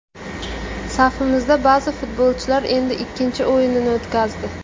Safimizda ba’zi futbolchilar endi ikkinchi o‘yinini o‘tkazdi.